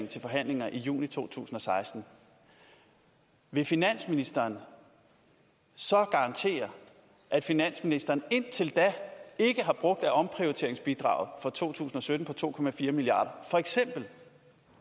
til forhandlinger i juni to tusind og seksten vil finansministeren så garantere at finansministeren indtil da ikke har brugt af omprioriteringsbidraget for to tusind og sytten på to milliarder for eksempel